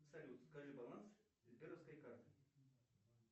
салют скажи баланс сберовской карты